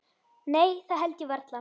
Nei það held ég varla.